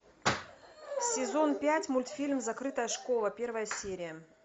сезон пять мультфильм закрытая школа первая серия